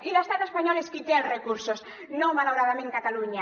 i l’estat espanyol és qui té els recursos no malauradament catalunya